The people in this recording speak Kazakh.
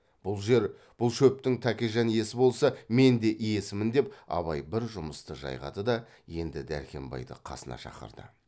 бұл жер бұл шөптің тәкежан иесі болса мен де иесімін деп абай бір жұмысты жайғады да енді дәркембайды қасына шақырды